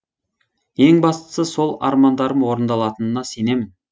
ең бастысы сол армандарым орындалатынына сенемін